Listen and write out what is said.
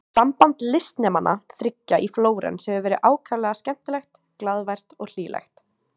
Samband listnemanna þriggja í Flórens hefur verið ákaflega skemmtilegt, glaðvært og hlýlegt.